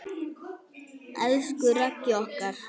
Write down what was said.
Elsku Raggi okkar.